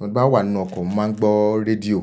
Nígbà wà nínú ọkọ̀, mo máa ń gbọ́ rédíò.